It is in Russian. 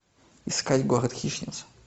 искать город хищниц